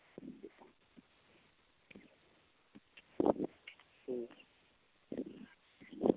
ਤੇ